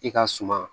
I ka suma